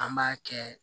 An b'a kɛ